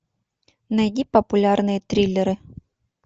найди популярные триллеры